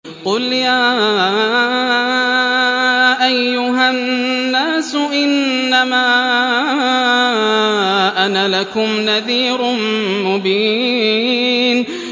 قُلْ يَا أَيُّهَا النَّاسُ إِنَّمَا أَنَا لَكُمْ نَذِيرٌ مُّبِينٌ